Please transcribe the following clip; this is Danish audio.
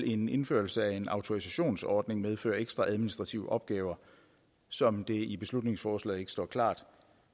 en indførelse af en autorisationsordning medføre ekstra administrative opgaver som det i beslutningsforslaget ikke står klart